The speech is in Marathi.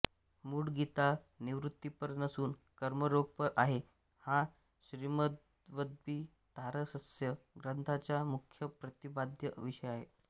मूळ गीता निवृत्तिपर नसून कर्मयोगपर आहे हा श्रीमद्भवद्गीतारहस्य ग्रंथाचा मुख्य प्रतिपाद्य विषय आहे